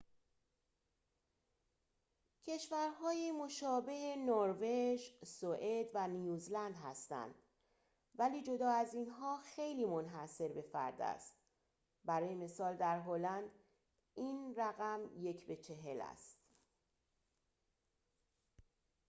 کشورهای مشابه نروژ، سوئد و نیوزلند هستند، ولی جدا از اینها خیلی منحصربه‌فرد است برای مثال در هلند این رقم یک به چهل است